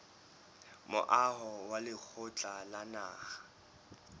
moaho wa lekgotla la naha